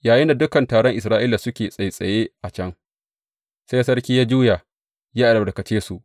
Yayinda dukan taron Isra’ila suke tsattsaye a can, sai sarki ya juya ya albarkace su.